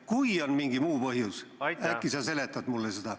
Kui on mingi muu põhjus, äkki sa seletad mulle seda.